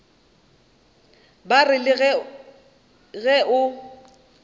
ba re le ge o